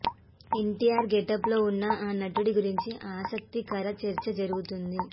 NTR getup లో ఉన్న ఆ నటుడు గురించి ఆసక్తికర చర్చ జరుగుతోంది